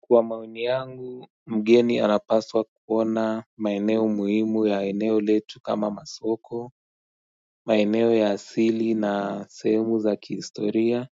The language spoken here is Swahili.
Kwa maoni yangu, mgeni anapaswa kuona maeneo muhimu ya eneo letu kama masoko, maeneo ya asili na sehemu za kihistoria,